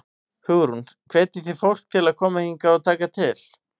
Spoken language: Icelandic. Hugrún: Hvetjið þið fólk til að koma hingað og taka til?